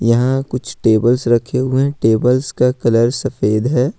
यहाँ कुछ टेबल्स रखे हुए हैं टेबल्स का कलर सफेद है।